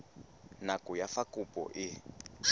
nako ya fa kopo e